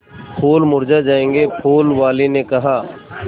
फूल मुरझा जायेंगे फूल वाली ने कहा